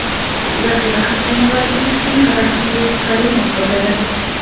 Zaxira hakami vazifasini Rahimbek Karimov bajaradi.